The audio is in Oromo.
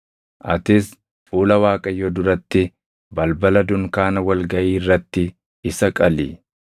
Atis fuula Waaqayyoo duratti, balbala dunkaana wal gaʼii irratti isa qali.